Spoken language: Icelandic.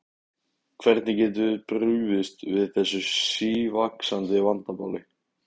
Hvernig getum við brugðist við þessu sívaxandi vandamáli?